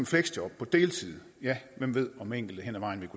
fleksjob på deltid ja hvem ved om enkelte hen ad vejen vil